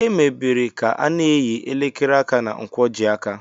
Emebere ka a n'eyi elekere aka na nkwojiaka